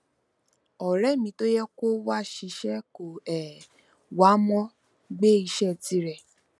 ọrẹ mi tó yẹ kó wá ṣìṣe kò um wá mo gbé iṣé tirẹ